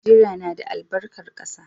Najeriya na da albarkar ƙasa